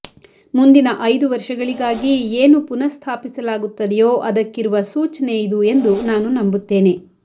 ಮುಂದಿನ ಐದು ವರ್ಷಗಳಿಗಾಗಿ ಏನು ಪುನಸ್ಥಾಪಿಸಲಾಗುತ್ತದೆಯೋ ಅದಕ್ಕಿರುವ ಸೂಚನೆ ಇದು ಎಂದು ನಾನು ನಂಬುತ್ತೇನೆ